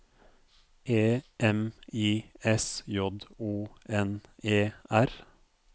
E M I S J O N E R